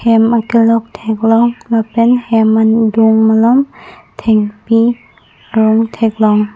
hem akelok theklong lapen hem lom thengpi arong theklong.